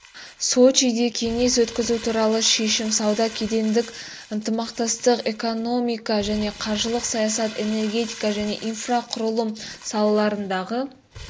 сочиде кеңес өткізу туралы шешім сауда кедендік ынтымақтастық экономика және қаржылық саясат энергетика және инфрақұрылым салаларындағы